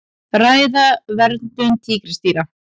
Ræða verndun tígrisdýra